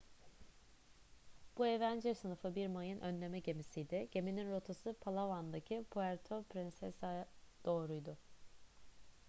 bu avenger sınıfı bir mayın önleme gemisiydi geminin rotası palawan'daki puerto princesa'ya doğruydu